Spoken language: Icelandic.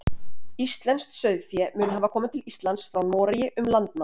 íslenskt sauðfé mun hafa komið til íslands frá noregi um landnám